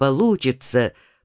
получится